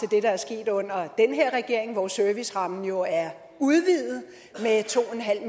det der er sket under den her regering hvor servicerammen jo er udvidet med to